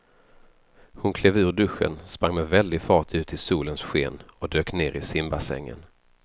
Hon klev ur duschen, sprang med väldig fart ut i solens sken och dök ner i simbassängen.